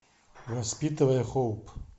воспитывая хоуп